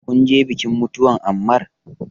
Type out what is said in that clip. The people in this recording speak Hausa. Kunje bikin mutuwan Ammar?